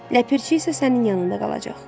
Ləpirçi isə sənin yanında qalacaq.